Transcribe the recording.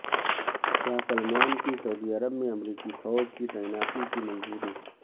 شاہ Salman کی سعودی عرب میں امریکی فوج کی تعیناتی کی منظوری